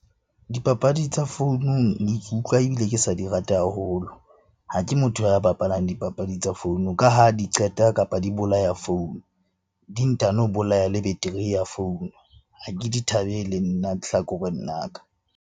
Dipapadi tsa founung ke utlwa ebile ke sa di rate haholo. Ha ke motho ya bapalang dipapadi tsa founu ka ha di qeta, kapa di bolaya founu, di ntano bolaya le battery ya founu. Ha ke di thabele nna hlakoreng la ka.